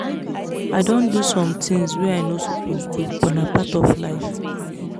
i don do some things wey i no suppose do but na part of life